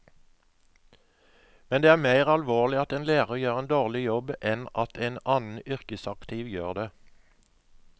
Men det er mer alvorlig at en lærer gjør en dårlig jobb enn at en annen yrkesaktiv gjør det.